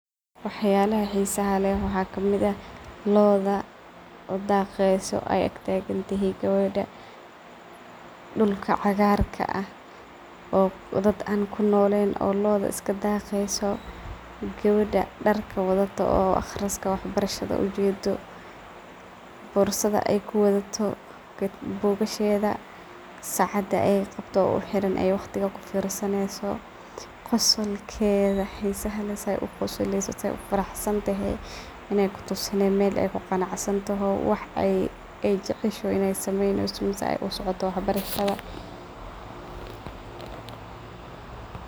Waxyala xisaha leh waxaa kamid ah loda daqeyso ay ag tagantehe geweda, dhulka cagarka ah oo dad an kunolen loda iskadaqeyso, geweda darka wadato oo aqriska wax barahada ujedo, darka xirantaho , qosolkedha , bugasheda , sacada ay qabto , qosolkedha , kutusinay in ay kuqanacsantaho, mel ay kuqanacsantahay in ay jogto wax ay jeceshaho ay sameyneso mise ay usocoto waxbarashada.